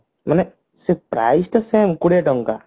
ମାନେ ସେ price ଟା same କୋଡିଏ ଟଙ୍କା